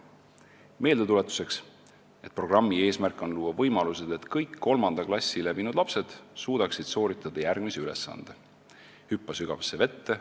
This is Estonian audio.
Meeldetuletuseks, et programmi eesmärk on luua võimalused selleks, et kõik kolmanda klassi läbinud lapsed suudaksid sooritada järgmise ülesande: "Hüppa sügavasse vette.